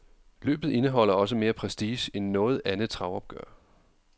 Løbet indeholder også mere prestige end noget andet travopgør.